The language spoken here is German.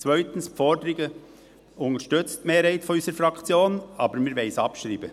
Die zweite Forderung unterstützt die Mehrheit unserer Fraktion, aber wir wollen sie abschreiben.